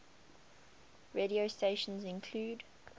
radio stations include